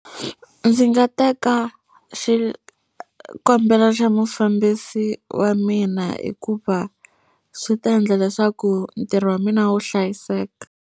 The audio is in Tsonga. Ndzi nga teka xikombelo xa mufambisi wa mina hikuva swi ta endla leswaku ntirho wa mina wu hlayiseka.